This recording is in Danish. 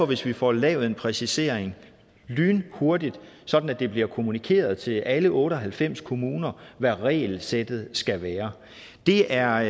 hvis vi får lavet en præcisering lynhurtigt sådan at det bliver kommunikeret til alle otte og halvfems kommuner hvad regelsættet skal være det er